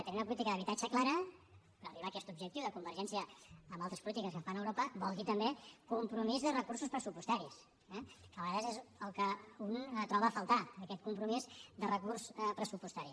i tenir una política d’habitatge clara per arribar a aquest objectiu de convergència amb altres polítiques que es fan a europa vol dir també compromís de recursos pressupostaris eh que a vegades és el que un troba a faltar aquest compromís de recurs pressupostari